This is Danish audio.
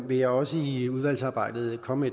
vil jeg også i udvalgsarbejdet komme